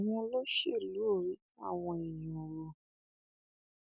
àwọn olóṣèlú ò rí tàwọn èèyàn rò